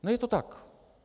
No je to tak!